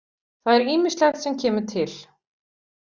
Það er ýmislegt sem kemur til.